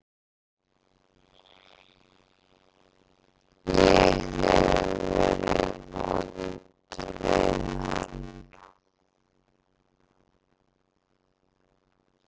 Ég hef verið vond við hann.